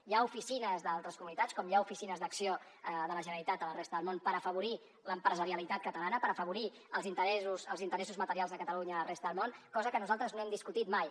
hi ha oficines d’altres comunitats com hi ha oficines d’acció de la generalitat a la resta del món per afavorir l’empresarialitat catalana per afavorir els interessos materials de catalunya a la resta del món cosa que nosaltres no hem discutit mai